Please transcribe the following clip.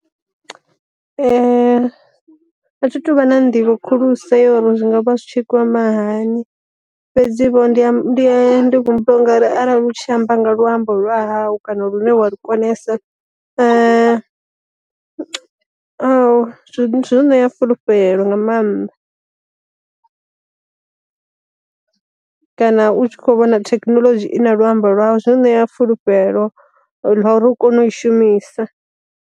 A thi tu vha na nḓivho khulusa ya uri zwi ngavha zwi tshi kwama hani, fhedzi vho ndi ndi humbula ungari arali u tshi amba nga luambo lwa hau kana lune wa lu konesa zwi u ṋea fulufhelo nga maanḓa. Kana u tshi kho vhona thekinoḽodzhi i na luambo lwau zwi u ṋea fulufhelo lwa uri u kone u i shumisa.